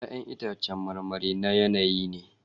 Ya'yan itãcen marmari na yanayi ne.